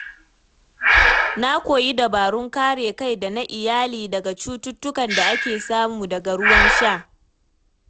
Na koyi dabarun kare kai da na iyali daga cututtukan da ake samu daga ruwan sha.